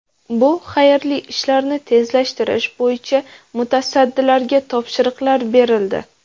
Bu xayrli ishlarni tezlashtirish bo‘yicha mutasaddilarga topshiriqlar berildi.